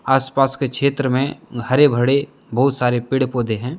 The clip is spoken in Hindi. आस पास के क्षेत्र में हरे भरे बहुत सारे पेड़ पौधे हैं।